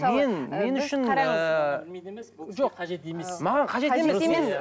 мен мен үшін ііі маған қажет емес